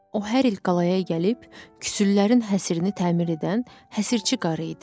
O hər il qalaya gəlib küsülərin həsrini təmir edən həsirçi qarı idi.